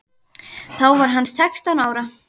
Þá var hann sextán ára.